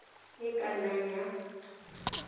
e e ka nnang ya